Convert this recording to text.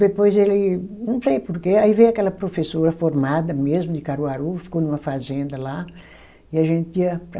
Depois ele, não sei porquê, aí veio aquela professora formada mesmo de Caruaru, ficou numa fazenda lá e a gente ia para